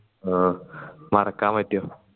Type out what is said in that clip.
ഓ മറക്കാൻ പറ്റുവോ